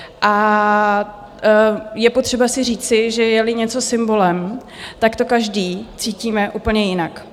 A je potřeba si říci, že je-li něco symbolem, tak to každý cítíme úplně jinak.